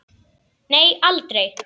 Nei aldrei.